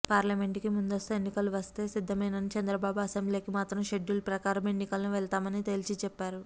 పార్లమెంట్కి ముందస్తు ఎన్నికలు వస్తే సిద్ధమేనన్న చంద్రబాబు అసెంబ్లీకి మాత్రం షెడ్యూల్ ప్రకారమే ఎన్నికలకు వెళ్తామని తేల్చిచెప్పారు